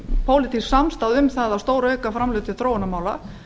en pólitísk samstaða er um að stórauka framlög til þróunarmála